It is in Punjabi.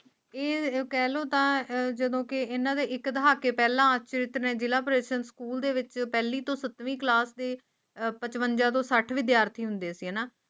ਇਹ ਪਹਿਲੋਂ ਤਾਂ ਹੈ ਜਦੋਂ ਕਿ ਇਹਨਾਂ ਦੇ ਇੱਕ ਦਹਾਕੇ ਪਹਿਲਾਂ ਜਿਤਨੇ ਦਿਲ ਵਿਚ ਪਹਿਲੀ ਤੋਂ ਅੱਠਵੀਂ ਕਲਾਸ ਦੀ ਪਚਵੰਜਾ ਤੋਂ ਸਾਥ ਵਿਦਿਆਰਥੀ ਹੁੰਦੇ ਸੀ ਹੈ ਇਨ੍ਹਾਂ